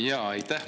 Aitäh!